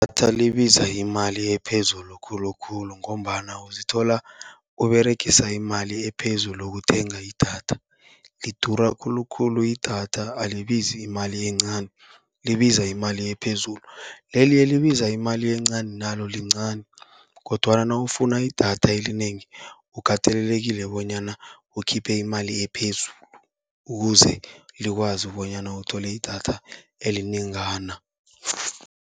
Idatha libiza imali ephezulu khulukhulu, ngombana uzithola uberegisa imali ephezulu ukuthenga idatha. Lidura khulukhulu idatha, alibizi imali encani libiza imali ephezulu. Leli elibiza imali encani nalo lincani kodwana nawufuna idatha elinengi, ukatelelekile bonyana ukhiphe imali ephezulu, ukuze likwazi bonyana uthole idatha elinengana.